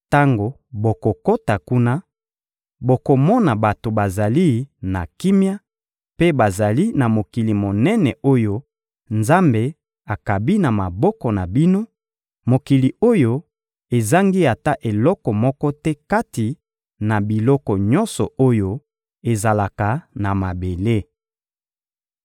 Tango bokokota kuna, bokomona bato bazali na kimia, mpe bazali na mokili monene oyo Nzambe akabi na maboko na bino, mokili oyo ezangi ata eloko moko te kati na biloko nyonso oyo ezalaka na mabele.